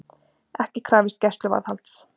Ekki krafist gæsluvarðhalds